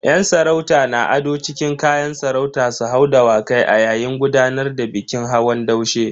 Yan sarauta na ado cikin kayan sarauta su hau Dawakai a yayin gudanar da bikin hawan daushe.